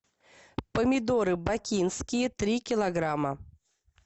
помидоры бакинские три килограмма